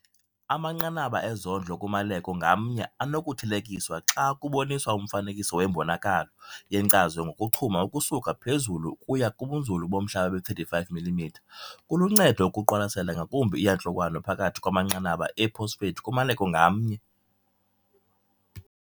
Amanqanaba ezondlo kumaleko ngamnye anokuthelekiswa xa kuboniswa umfanekiso wembonakalo yenkcazo ngokuchuma ukusuka phezulu ukuya kubunzulu bomhlaba be-35 mm. Kuluncedo ukuqwalasela ngakumbi iiyantlukwano phakathi kwamanqanaba ee-phosphate kumaleko ngamnye.